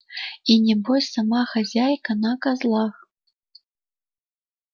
и небось сама хозяйка на козлах